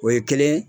O ye kelen ye